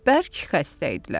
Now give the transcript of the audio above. Bərk xəstə idilər.